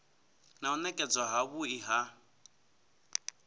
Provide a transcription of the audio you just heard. na u nekedzwa havhui ha